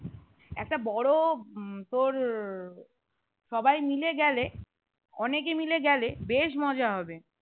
একটা বড় উম তোর সবাই মিলে গেলে অনেকই মিলে গেলে বেশ মজা হবে